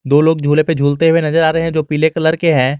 दो लोग झूले पे झूलते हुए नजर आ रहे हैं जो पीले कलर के हैं।